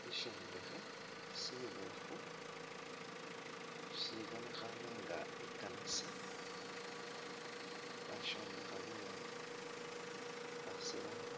Sishombekhe sibofu sisibonekhane nga i'kanisa bashombekha bulaayi bashirakho